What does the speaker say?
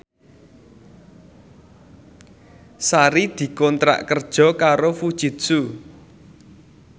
Sari dikontrak kerja karo Fujitsu